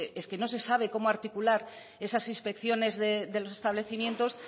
es que no se sabe cómo articular esas inspecciones de los establecimientos